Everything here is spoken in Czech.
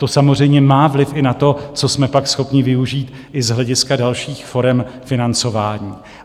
To samozřejmě má vliv i na to, co jsme pak schopni využít i z hlediska dalších forem financování.